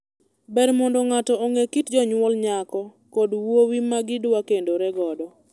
Ber mondo ng'ato ong'e kit jonyuol nyako kod wuowi ma gidwa kendore godo.